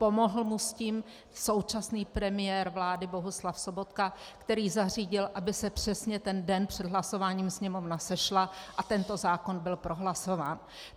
Pomohl mu s tím současný premiér vlády Bohuslav Sobotka, který zařídil, aby se přesně ten den před hlasováním Sněmovna sešla a tento zákon byl prohlasován.